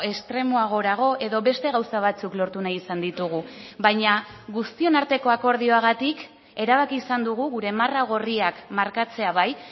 estremoagorago edo beste gauza batzuk lortu nahi izan ditugu baina guztion arteko akordioagatik erabaki izan dugu gure marra gorriak markatzea bai